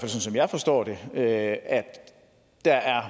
som jeg forstår det at der er